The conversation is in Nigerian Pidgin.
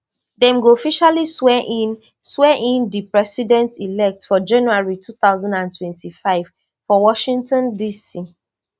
dem go officially swear in swear in di president elect for january two thousand and twenty-five for washington dc